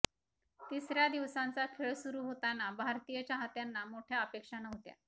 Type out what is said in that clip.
तिसऱ्या दिवसांचा खेळ सुरू होताना भारतीय चाहत्यांना मोठ्या अपेक्षा नव्हत्या